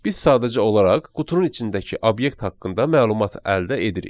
Biz sadəcə olaraq qutunun içindəki obyekt haqqında məlumat əldə edirik.